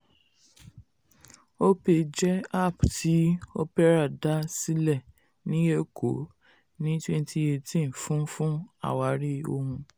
opay jẹ́ app tí opera dá sílẹ̀ ní èkó ní twenty eighteen fún fún àwárí ohun.